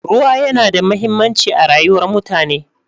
Ruwa yana da mahimmanci a rayuwar mutane.